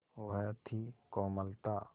वह थी कोमलता